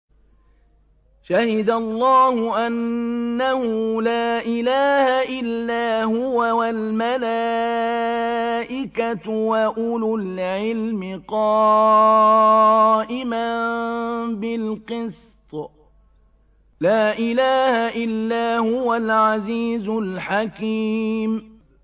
شَهِدَ اللَّهُ أَنَّهُ لَا إِلَٰهَ إِلَّا هُوَ وَالْمَلَائِكَةُ وَأُولُو الْعِلْمِ قَائِمًا بِالْقِسْطِ ۚ لَا إِلَٰهَ إِلَّا هُوَ الْعَزِيزُ الْحَكِيمُ